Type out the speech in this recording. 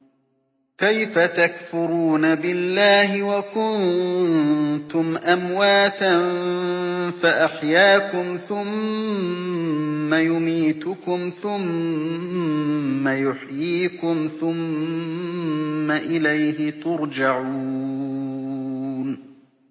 كَيْفَ تَكْفُرُونَ بِاللَّهِ وَكُنتُمْ أَمْوَاتًا فَأَحْيَاكُمْ ۖ ثُمَّ يُمِيتُكُمْ ثُمَّ يُحْيِيكُمْ ثُمَّ إِلَيْهِ تُرْجَعُونَ